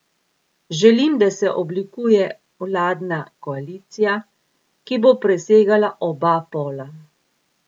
Želim, da se oblikuje vladna koalicija, ki bo presegala oba pola.